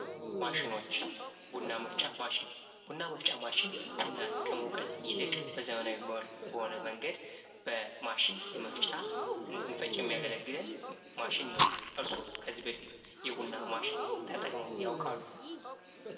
ማሽኖች ቡና መፍጫ ማሽን ቡና መፍጫ ማሽን ቡናን ከመውቀጥ ይልቅ በዘመናዊ መልኩ በሆነ መንገድ በማሽን የመፍጫ እንድንፈጭ የሚያገለግለን ማሽን ነው። እርሶ ከዚህ በፊት የቡና ማሽን ተጠቅመው ያውቃሉ?